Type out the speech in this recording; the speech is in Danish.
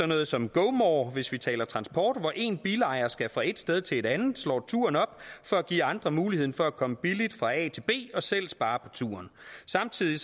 noget som gomore hvis vi taler om transport hvor en bilejer skal fra et sted til et andet og slår turen op for at give andre muligheden for at komme billigt fra a til b og selv spare på turen samtidig